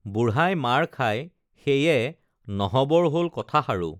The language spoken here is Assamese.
বুঢ়াই মাৰ খাই সেয়ে নহবৰ হল কথাষাৰো